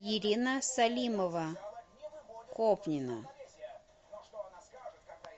ирина салимова копнина